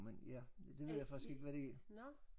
Men ja det ja ved jeg faktisk ikke hvad det er